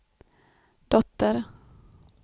dotter